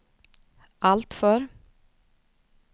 alltför